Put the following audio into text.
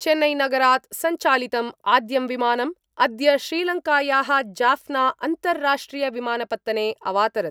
चेन्नैनगरात् संचालितम् आद्यं विमानम् अद्य श्रीलंकायाः जाफना अन्तर्राष्ट्रियविमानपत्तने अवातरत्।